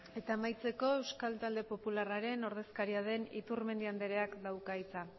eta amaitzeko euskal talde popularraren ordezkaria den iturmendi andereak dauka hitza